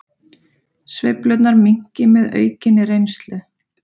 Sveiflurnar minnki með aukinni reynslu